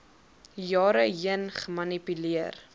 jare heen gemanipuleer